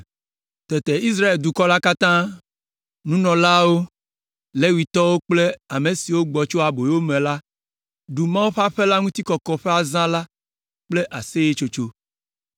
Tete Israel dukɔ la katã, nunɔlawo, Levitɔwo kple ame siwo gbɔ tso aboyome la ɖu Mawu ƒe aƒe la ŋuti kɔkɔ ƒe azã la kple aseyetsotso.